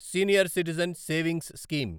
senior citizen savings scheme